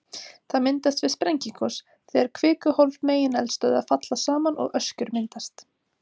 Það myndast við sprengigos, þegar kvikuhólf megineldstöðva falla saman og öskjur myndast.